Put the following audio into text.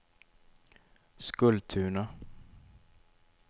Skultuna